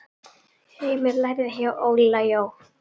Heimir lærði hjá Óla Jó.